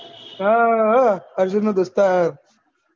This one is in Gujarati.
હા આ હા અર્જુન તો દોસ્ત્ત હા